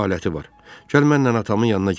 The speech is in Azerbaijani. Gəl mənlə atamın yanına gedək.